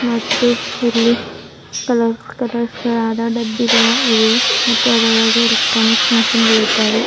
ಮತ್ತು ಇಲ್ಲಿ ಕಲರ್ಸ್ ಕಲರ್ಸ್ಗಳಾದ ಡಬ್ಬಿಗಳಇವೆ ಮತ್ತು ಅದರೊಳಗೆ ಎಲೆಕ್ಟ್ರಾನಿಕ್ ಮಿಷನ್ ಗಳಿದ್ದಾವೆ.